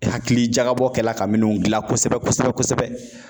Hakili jagabɔ kɛla ka minnu gilan kosɛbɛ kosɛbɛ.